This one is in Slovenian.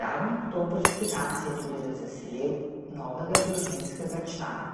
zadnji oktobrski dan se je tudi razveselil novega družinskega člana.